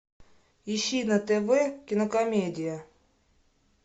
ищи на тв кинокомедия